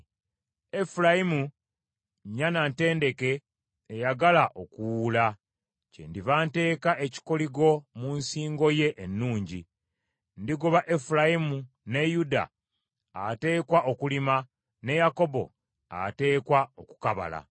Efulayimu nnyana ntendeke eyagala okuwuula; kyendiva nteeka ekikoligo mu nsingo ye ennungi. Ndigoba Efulayimu ne Yuda ateekwa okulima ne Yakobo ateekwa okukabala.